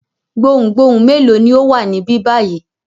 Gbohùngbohùn mélòó ni ó wà níbí báyìí?